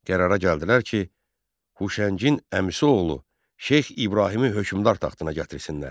Qərara gəldilər ki, Huşəngin əmisi oğlu Şeyx İbrahimi hökmdar taxtına gətirsinlər.